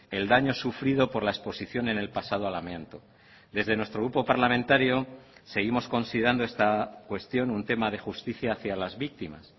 el daño sufrido por la exposición en el pasado al amianto desde nuestro grupo parlamentario seguimos considerando esta cuestión un tema de justicia hacia las víctimas